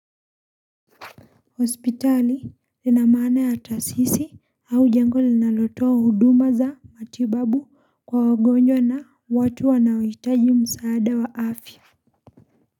Hospitali lina maana ya taasisi au jengo linalotoa huduma za matibabu kwa wagonjwa na watu wanaohitaji msaada wa afya.